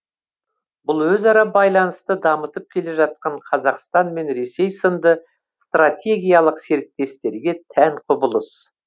бұл өзара байланысты дамытып келе жатқан қазақстан мен ресей сынды стратегиялық серіктестерге тән құбылыс